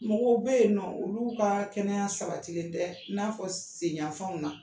Mɔgɔw bɛ yen nɔ olu ka ka sabati le tɛ in'a fɔ senyanfanw na